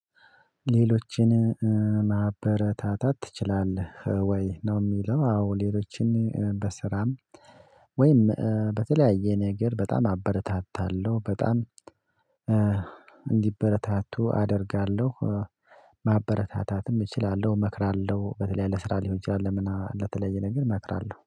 ሌሎችን ማበረታታት ትችላለህ ወይ ነው? የሚለው አዎ ሌሎችን በስራም ወይም በተለያየ ነገር በጣም አበረታታለሁ በጣም እንዲበረታቱ አደርጋለሁ። ማበረታታትም እችላለሁ እመክራለሁ በተለይ ለስራ ሊሆን ይችላል ምናምን ለተለየ ነገር እመክራለሁ